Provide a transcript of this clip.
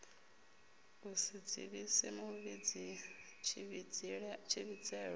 u si dzivhise muvhidzi tshivhidzelwa